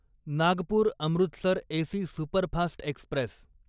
Nagpur Amritsar AC superfast Express